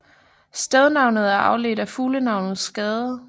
Stednavnet er afledt af fuglenavnet skade